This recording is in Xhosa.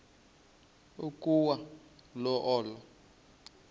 ukwa yo olo